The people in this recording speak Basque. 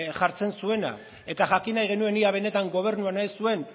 jartzen zuena eta jakin nahi genuen ea benetan gobernu honek zuen